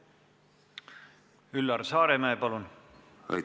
Üllar Saaremäe, palun!